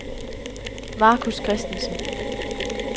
Marcus Christensen